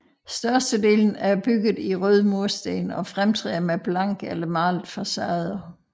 Størstedelen er bygget i røde mursten og fremtræder med blanke eller malede facader